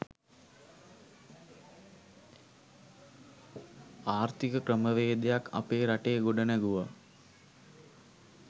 ආර්ථික ක්‍රමවේදයක් අපේ රටේ ගොඩනැගුවා